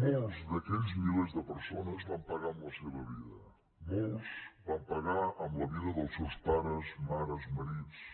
molts d’aquells milers de persones van pagar amb la seva vida molts van pagar amb la vida dels seus pares mares marits